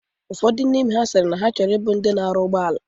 Ụfodụ n'ime ha sịrị na ha ga abụ ndị na-arụ ụgbọala